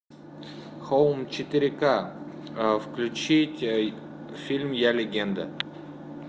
хоум четыре ка включить фильм я легенда